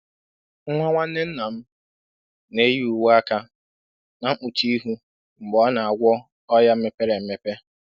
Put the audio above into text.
Nwa nwanne nna m na-eyi uwe aka na mkpuchi ihu mgbe ọ na-agwọ ọnya mepere emepe.